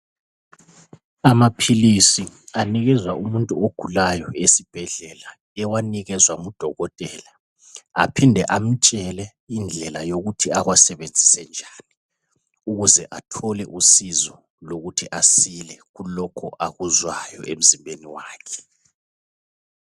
Amaphilisi anikeza umuntu ogulayo esibhedlela ewanikezwa ngudokotela aphinde amtshele indlela yokuthi awasebenzise njani ukuze athole usizo lokuthi asile kulokhu akuzwayo emzimbeni wakhe.